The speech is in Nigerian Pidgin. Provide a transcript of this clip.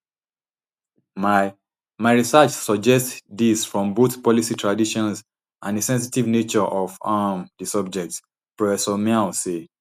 my my research suggest dis from both policy traditions and di sensitive nature of um di subject prof miao say